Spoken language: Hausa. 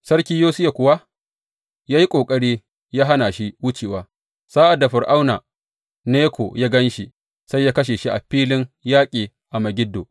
Sarki Yosiya kuwa ya yi ƙoƙari ya hana shi wucewa, sa’ad da Fir’auna Neko ya gan shi, sai ya kashe shi a filin yaƙi a Megiddo.